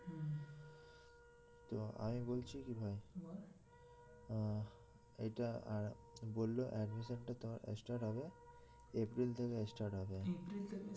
তো আমি বলছি কি ভাই আহ এইটা আর বললো admission টা তোমার start হবে এপ্রিল থেকে start হবে